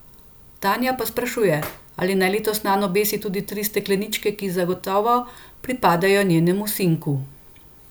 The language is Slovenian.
Tanja pa se sprašuje, ali naj letos nanj obesi tudi tri stekleničke, ki zagotovo pripadajo njenemu sinku.